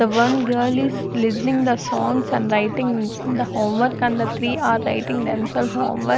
The one girl is listening the songs and writing the homework and the three are writing themselves homework.